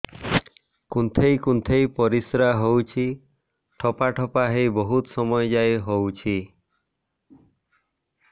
କୁନ୍ଥେଇ କୁନ୍ଥେଇ ପରିଶ୍ରା ହଉଛି ଠୋପା ଠୋପା ହେଇ ବହୁତ ସମୟ ଯାଏ ହଉଛି